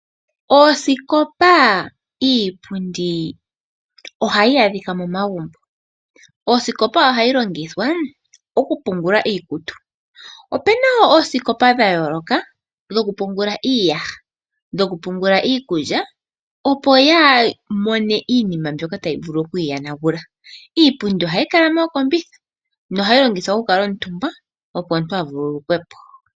Oosikopa, iipundi ohayi adhika momagumbo. Osikopa ohayi longithwa oku pungula iikutu opuna wo osikopa dha yooloka dhokupungula iiyaha, dhokupungula, dhokupungula iikulya, opo yaa mone iinima mbyoka tayi vulu okuyi yonagula. Iipundi ohayi kala moo kombitha nohayi longithwa okukala ontumbwa, opo omuntu a vululu kwe po.